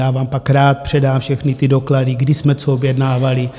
Já vám pak rád předám všechny ty doklady, kdy jsme co objednávali.